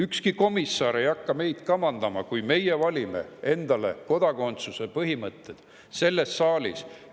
Ükski komissar ei hakka meid kamandama, kui me valime endale kodakondsuse põhimõtted selles saalis.